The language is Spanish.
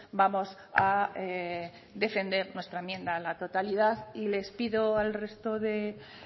vamos a defender nuestra enmienda a la totalidad y les pido al resto de